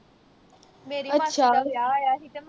ਅਁਛਾ